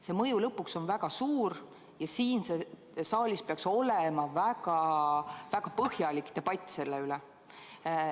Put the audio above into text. See mõju on lõpuks väga suur ja siin saalis peaks olema väga-väga põhjalik debatt selle üle.